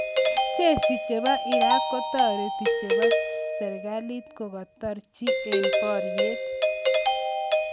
jeshi chebo Iraq kokataret chepo sarkit kokotaretjey eng poryet